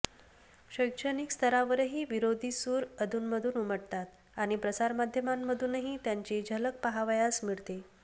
शैक्षणिक स्तरावरही विरोधी सूर अधूनमधून उमटतात आणि प्रसारमाध्यांमधूनही त्यांची झलक पहावयास मिळते